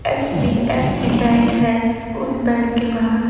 HDFC bank है उस bank के बाहर--